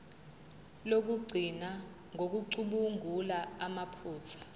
lokugcina ngokucubungula amaphutha